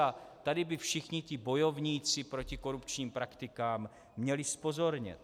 A tady by všichni ti bojovníci proti korupčním praktikám měli zpozornět.